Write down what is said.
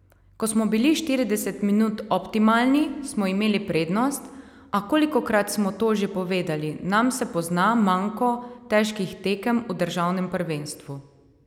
Ko smo bili štirideset minut optimalni, smo imeli prednost, a kolikokrat smo to že povedali, nam se pozna manko težkih tekem v državnem prvenstvu.